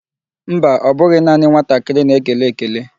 Mba, ọ bụghị naanị nwatakịrị na-ekele ekele.